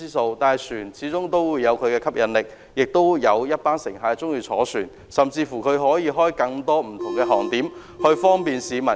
然而，船隻始終有其吸引力，亦有一群乘客喜歡乘船，甚至船公司可以開設更多不同航點，方便市民。